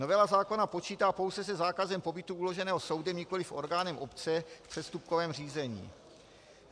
Novela zákona počítá pouze se zákazem pobytu uloženým soudem, nikoliv orgánem obce v přestupkovém řízení.